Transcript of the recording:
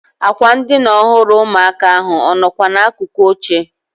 Ákwà ndịna ọhụrụ ụmụaka ahụ ọ nọkwa n'akụkụ oche?